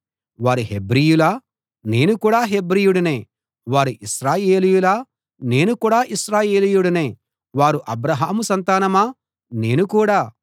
వారు హెబ్రీయులా నేను కూడా హెబ్రీయుడినే వారు ఇశ్రాయేలీయులా నేను కూడా ఇశ్రాయేలీయుడినే వారు అబ్రాహాము సంతానమా నేను కూడా